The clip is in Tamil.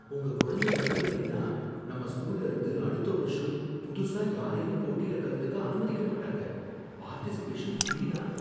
உங்க குழந்தை கலந்துக்கலைன்னா, நம்ம ஸ்கூல்ல இருந்து அடுத்த வருஷம் புதுசா யாரையும் போட்டில கலந்துக்க அனுமதிக்க மாட்டாங்க. பார்ட்டிசிபேஷன் ஃப்ரீதான்.